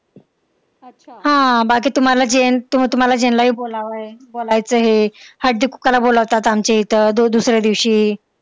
हा, बाकी तुम्हाला तुम्हाला जेनला बोलायचं हे, हळदी-कुकवाला बोलावतात आमच्या इथं दुसऱ्या दिवशी.